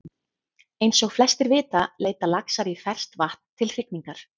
Eins og flestir vita leita laxar í ferskt vatn til hrygningar.